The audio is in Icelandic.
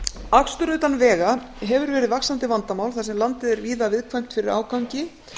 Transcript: akstur utan vega hefur verið vaxandi vandamál þar sem landið er víða viðkvæmt fyrir ágangi